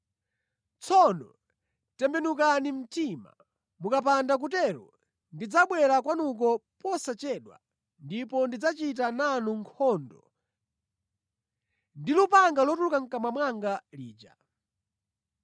Tsono tembenukani mtima. Mukapanda kutero, ndidzabwera kwanuko posachedwa ndipo ndidzachita nanu nkhondo ndi lupanga lotuluka mʼkamwa mwanga lija.